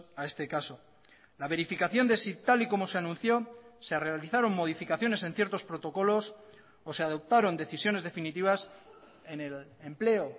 a este caso la verificación de si tal y como se anunció se realizaron modificaciones en ciertos protocolos o se adoptaron decisiones definitivas en el empleo